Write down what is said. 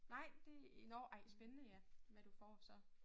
Nej det nåh ej spændende ja hvad du får så